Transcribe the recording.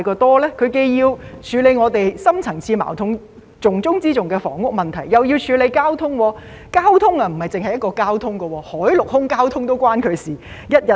陳局長既要處理我們的深層次矛盾——重中之重的房屋問題，又要處理交通事宜；交通不止是一種交通，海、陸、空的交通也與他有關。